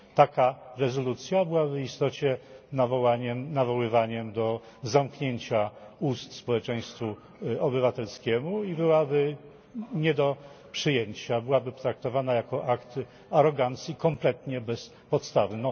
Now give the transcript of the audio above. Taka rezolucja byłaby w istocie nawoływaniem do zamknięcia ust społeczeństwu obywatelskiemu i byłaby nie do przyjęcia, byłaby traktowana jako akt arogancji kompletnie bez podstawy.